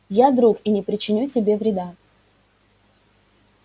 я друг и не причиню тебе вреда